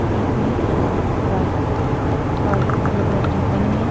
एक ने व्हाइट और ब्ल्यू कलर की जींस पहनी हुई है।